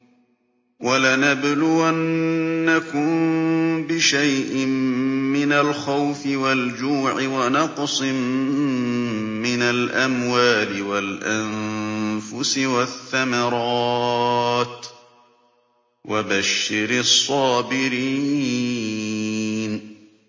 وَلَنَبْلُوَنَّكُم بِشَيْءٍ مِّنَ الْخَوْفِ وَالْجُوعِ وَنَقْصٍ مِّنَ الْأَمْوَالِ وَالْأَنفُسِ وَالثَّمَرَاتِ ۗ وَبَشِّرِ الصَّابِرِينَ